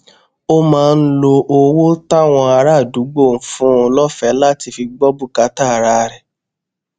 ó máa ń lo owó táwọn ará àdúgbò ń fún un lófèé láti fi gbó bùkátà ara rè